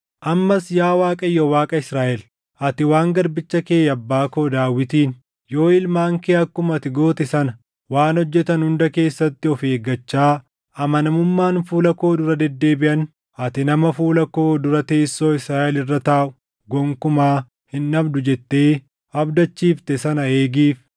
“Ammas yaa Waaqayyo Waaqa Israaʼel, ati waan garbicha kee abbaa koo Daawitiin, ‘Yoo ilmaan kee akkuma ati goote sana waan hojjetan hunda keessatti of eeggachaa, amanamummaan fuula koo dura deddeebiʼan, ati nama fuula koo dura teessoo Israaʼel irra taaʼu gonkumaa hin dhabdu’ jettee abdachiifte sana eegiif.